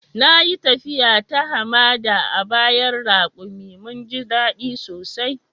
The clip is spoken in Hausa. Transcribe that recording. Na yi taffiya ta hamada a bayan rakumi. Mun ji dadi sosai.